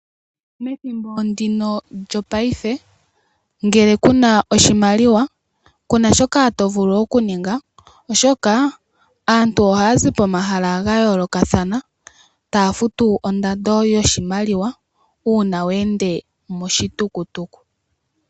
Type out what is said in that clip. Methimbo ndino lyopaife ngele ku na oshimaliwa ku a shoka to vulu okuninga oshoka aantu ohaya zi pomahala ga yoolokathana taya futu ondando yoshimaliwa uuna we ende moshitukutuku.